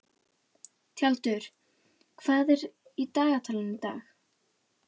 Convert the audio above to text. Tjaldur, hvað er á dagatalinu í dag?